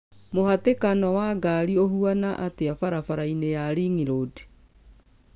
mũhatĩkano wa ngari ũhũana atĩa barabara - inĩya ringroad